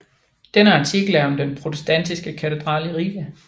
Denne artikel er om den protestantiske katedral i Riga